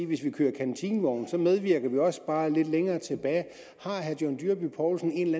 hvis vi kører kantinevogne medvirker vi også bare lidt længere tilbage har herre john dyrby paulsen en